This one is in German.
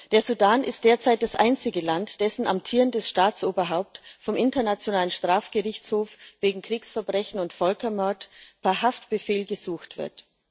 Der Sudan ist derzeit das einzige Land, dessen amtierendes Staatsoberhaupt vom Internationalen Strafgerichtshof wegen Kriegsverbrechen und Völkermord per Haftbefehl gesucht wird.